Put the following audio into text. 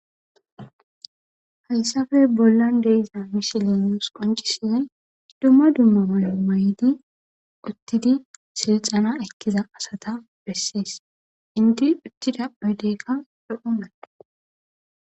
Hayssafe bollan deeza mishilenos qoncisinoy ddumma dumma male may'di uttidi silxana ekkiza asata bessis inti uttida puydeykka pehunae.